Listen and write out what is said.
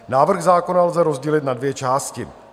Návrh zákona lze rozdělit na dvě části.